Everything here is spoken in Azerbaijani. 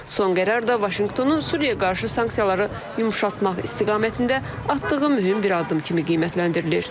Son qərar da Vaşinqtonun Suriyaya qarşı sanksiyaları yumşaltmaq istiqamətində atdığı mühüm bir addım kimi qiymətləndirilir.